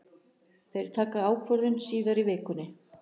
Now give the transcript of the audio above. Þeir taka ákvörðun síðar í vikunni.